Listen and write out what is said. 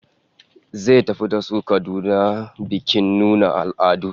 Zai tafi da su Kaduna bikin nunin al'adu